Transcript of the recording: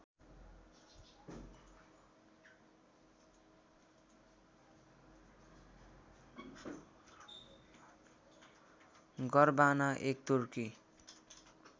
गरवाना एक तुर्की